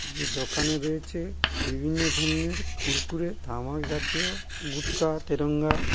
যে দোকানে রয়েছে বিভিন্ন ধরনের কুরকুরে তামাক জাতীয় গুটকা তেরঙ্গা।